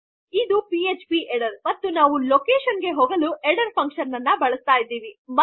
ಇದು PHP header ಮತ್ತು ನಾವು ಲೊಕೇಷನ್ ಗೆ ಹೋಗಲು ಹೆಡ್ಡರ್ ಕಾರ್ಯವನ್ನು ಬಳಸುತ್ತಿದ್ದಿವಿ